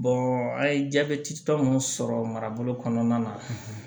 an ye jabɛti tɔ mun sɔrɔ marabolo kɔnɔna na